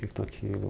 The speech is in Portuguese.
O que que tu aquilo?